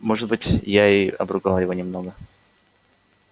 может быть я и обругал его немного